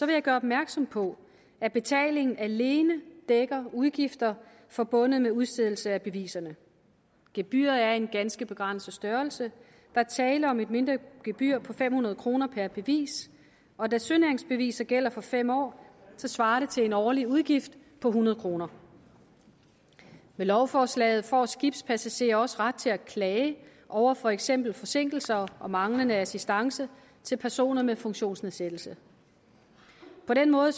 jeg gøre opmærksom på at betalingen alene dækker udgifter forbundet med udstedelse af beviserne gebyret er af en ganske begrænset størrelse der er tale om et mindre gebyr på fem hundrede kroner per bevis og da sønæringsbeviser gælder for fem år svarer det til en årlig udgift på hundrede kroner med lovforslaget får skibspassagerer også ret til at klage over for eksempel forsinkelser og manglende assistance til personer med funktionsnedsættelse på den måde